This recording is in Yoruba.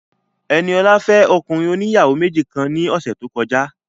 Ẹniọlá fẹ́ ọkùnrin oníyàwó méjì kan ní ọ̀sẹ̀ tó kọjá